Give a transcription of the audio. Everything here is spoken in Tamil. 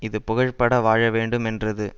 இது புகழ்பட வாழவேண்டு மென்றது